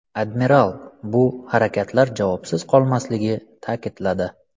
Admiral bu harakatlar javobsiz qolmasligi ta’kidladi.